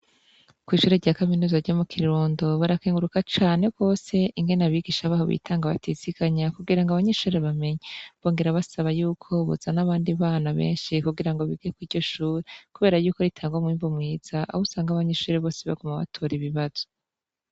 Kw'ishure rya kaminuza ryo mu Kirundo, barakenguruka cane gose ingene abigisha baho bitanga batiziganya kugira ngo abanyeshure bamenye. Bongera basaba yuko bozana abandi bana benshi, kugira ngo bige kuriryo shure kubera ko ritanga umwimbu mwiza aho usanga abanyeshure bose baguma batora ibibazo.